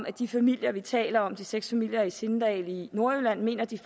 at de familier vi taler om altså de seks familier i sindal i nordjylland mener at de